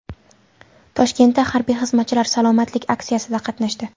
Toshkentda harbiy xizmatchilar salomatlik aksiyasida qatnashdi .